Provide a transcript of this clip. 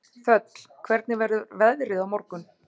Þöll, hvernig verður veðrið á morgun?